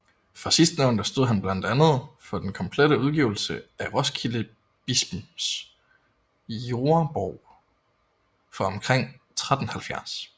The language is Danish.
For sidstnævnte stod han blandt andet for den komplette udgivelse af Roskildebispens Jordebog fra omkring 1370